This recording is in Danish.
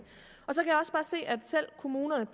selv kommunerne